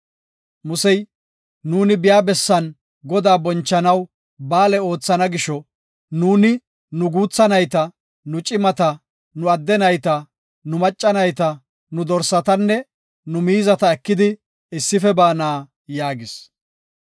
Musey, “Nuuni biya bessan Godaa bonchanaw ba7aale oothana gisho, nuuni nu guutha nayta, nu cimata, nu adde nayta, nu macca nayta, nu dorsatanne nu miizata ekidi issife baana” yaagis.